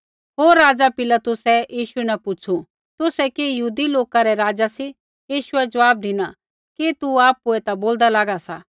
होर राज़ा पिलातुसै यीशु न पुछ़ू तुसै कि यहूदी लोका रै राज़ा सी यीशुऐ ज़वाब धिना कि तू आपुऐ ता बोलदा लागा सा